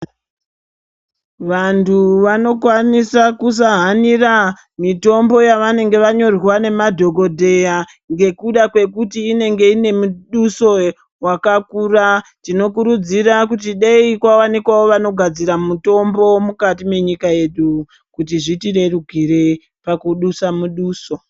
Vantu vanokwanisa kusahanira mitombo yavanenge vanyorerwa nemadhokodheya ngekuda kwekuti inenge iine miduso wakakura tinokurudzira dei kwawanikwa vanogadzira mitombo mukati menyika yedu kuti zvitirerukire pakudusa muduso.